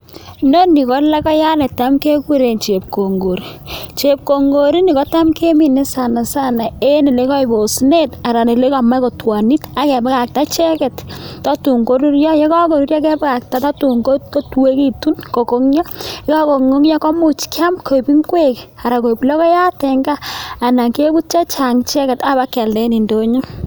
Inoniii KO logoyat nekigureeen chepkongor tuun kakonyaaa keame koeek ingweeek